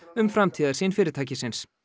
um framtíðarsýn fyrirtækisins